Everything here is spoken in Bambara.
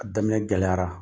A daminɛ gɛlɛyara.